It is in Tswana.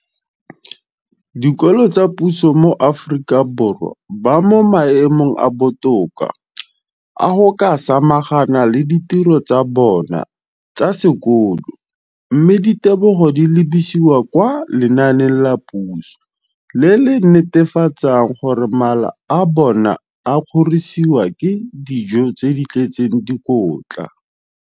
dikolo tsa puso mo Aforika Borwa ba mo maemong a a botoka a go ka samagana le ditiro tsa bona tsa sekolo, mme ditebogo di lebisiwa kwa lenaaneng la puso le le netefatsang gore mala a bona a kgorisitswe ka dijo tse di tletseng dikotla.